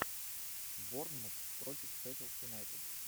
борнмут против шеффилд юнайтед